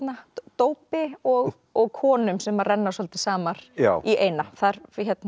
dópi og og konum sem renna svolítið saman í eina þar